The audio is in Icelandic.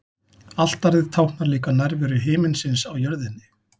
Altarið táknar líka nærveru himinsins á jörðinni.